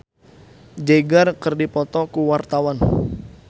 Dicky Wahyudi jeung Mick Jagger keur dipoto ku wartawan